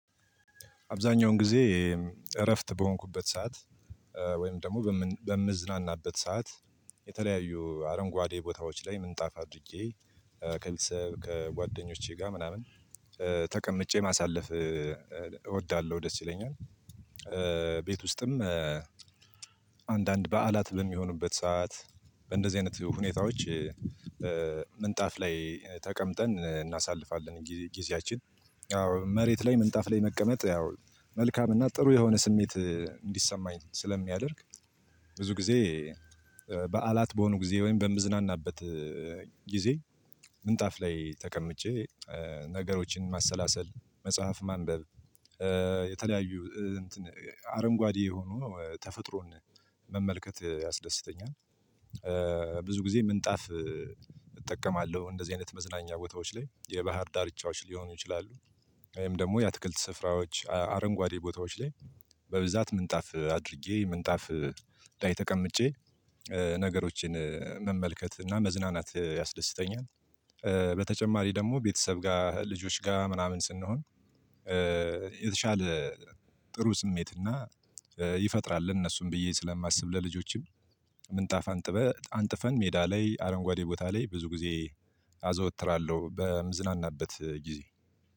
አብዛኛውን ጊዜ እረፍት በሆንኩበት ሰዓት ወይም ደግሞ በምዝናናበት ሰዓት የተለያዩ አረንጓዴ ቦታዎች ላይ ምንጣፍ አድርጌ ከቤተሰብ ከጓደኞቼ ጋር ምናምን ተቀምጬ ማሳለፍ እወዳለሁ ደስ ይለኛል። ቤት ውስጥም አንዳንድ በዓላት በሚሆኑበት ሰዓት በእንደዚህ አይነት ሁኔታዎች ምንጣፍ ላይ ተቀምጠን እናሳልፋለን ጊዜያችን። አዎ መሬት ላይ ምንጣፍ ላይ መቀመጥ ያው መልካም እና ጥሩ የሆነ ስሜት እንዲሰማኝ ስለሚያደርግ። ብዙ ጊዜ በዓላት በሆኑ ጊዜ ወይም በምዝናናበት ጊዜ ምንጣፍ ላይ ተቀምጬ ነገሮችን ማሰላሰል መጽሐፍ ማንበብ የተለያዩ እንትን አረንጓዴ የሆኑ ተፈጥሮን መመልከት ያስደስተኛል። ብዙ ጊዜ ምንጣፍ እጠቀማለሁ እንደዚህ አይነት መዝናኛ ቦታዎች ላይ የባህር ዳርቻዎች ሊሆኑ ይችላሉ። ወይም ደግሞ የአትክልት ስፍራዎች አረንጓዴ ቦታዎች ላይ በብዛት ምንጣፍ አድርጌ ምንጣፍ ላይ ተቀምጬ ነገሮችን መመልከት እና መዝናናት ያስደስተኛል። በተጨማሪ ደግሞ ቤተሰብ ጋር ልጆች ጋር ምናምን ስንሆን የተሻለ ጥሩ ስሜትና ይፈጥራል። እነሱን ብዬ ስለማስብ ለልጆችም ምንጣፍ አንጥበህ አንጥፈን ሜዳ ላይ አረንጓዴ ቦታ ላይ ብዙ ጊዜ አዘወትራለሁ በምዝናናበት ጊዜ።